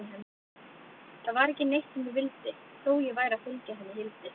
Það var ekki neitt sem ég vildi, þó ég væri að fylgja henni Hildi.